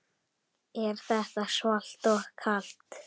Er þetta svalt og kalt?